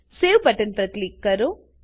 save button પર click કરો